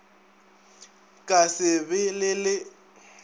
ka se be le le